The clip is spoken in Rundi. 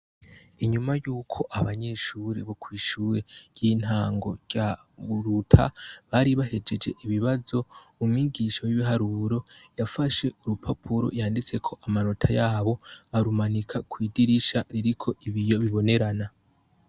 Inyuma y'uko abanyeshure bo kw'ishure ry'intango rya Muruta baru bahejeje ibibazo, umwigisha w'ibiharuro yafashe urupapuro yanditseko amanota yabo arumanika kw'idirisha ririko ibiyo bibonerana.